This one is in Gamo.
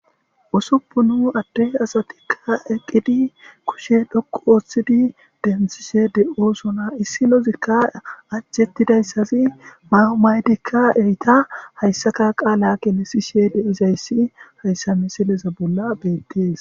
Ussupun adde asatika eqqidi kushshe dhoqqu oththidi denththishe de7osona issinozika anjetizaysazi mayo mayidika eeta hayssata qaala gelisishe diizayssi hayssa missileza bolla bettes.